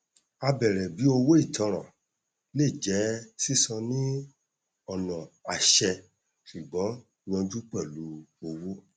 a bèrè bí owó ìtanràn lè jẹ sísan ní ọnà àṣẹ ṣùgbọn yanjú pẹlú owó